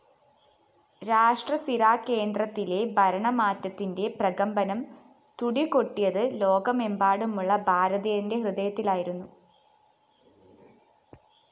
രാഷ്ട്രസിരാകേന്ദ്രത്തിലെ ഭരണമാറ്റത്തിന്റെ പ്രകമ്പനം തുടികൊട്ടിയത് ലോകമെമ്പാടുമുള്ള ഭാരതീയന്റെ ഹൃദയത്തിലായിരുന്നു